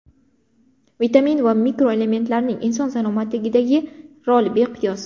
Vitamin va mikroelementlarning inson salomatligidagi roli beqiyos.